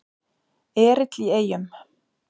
Erill í Eyjum